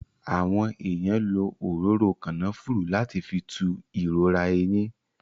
Àwọn èèyàn lo òróró Kànáfùrù láti fi tú ìrora eyín